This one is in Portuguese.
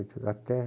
até